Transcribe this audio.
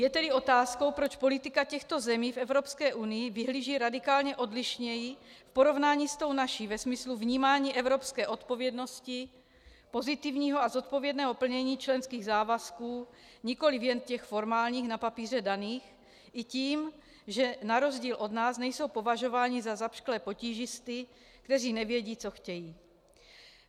Je tedy otázkou, proč politika těchto zemí v Evropské unii vyhlíží radikálně odlišněji v porovnání s tou naší ve smyslu vnímání evropské odpovědnosti, pozitivního a zodpovědného plnění členských závazků, nikoliv jen těch formálních, na papíře daných, i tím, že na rozdíl od nás nejsou považováni za zapšklé potížisty, kteří nevědí, co chtějí.